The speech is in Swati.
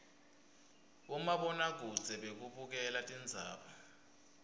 bomabonakudze bekubukela tindzaba